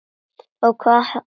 Hvað hefur hann fiskað?